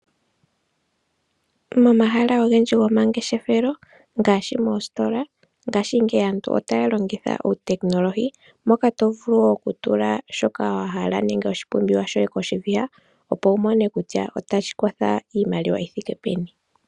Momahala ogendji gomangeshefelo ngaashi moositola , ngashingeyi aantu otaya longitha uutekinolohi moka tovulu okutula shoka wahala nenge oshipumbiwa koshiviha opo wumone kutya otashi kotha iimaliwa yithike peni.